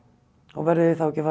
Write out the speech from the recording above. og verðið þið þá ekki að